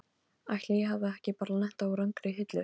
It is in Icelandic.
Ætli ég hafi ekki bara lent á rangri hillu.